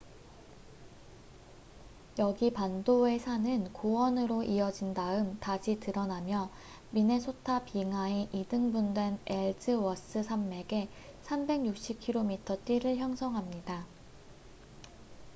여기 반도의 산은 고원으로 이어진 다음 다시 드러나며 미네소타 빙하에 이등분된 엘즈워스 산맥의 360km 띠를 형성합니다